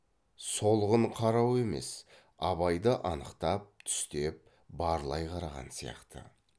солғын қарау емес абайды анықтап түстеп барлай қараған сияқты